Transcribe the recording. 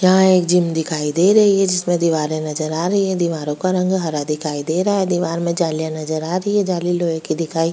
यहाँ एक जिम दिखाई दे रही है जिसमें दीवारें नजर आ रही है दीवारों का रंग हरा दिखाई दे रहा है दीवार में जालियाँ नजर आ रही है जाली लोहे की दिखाई --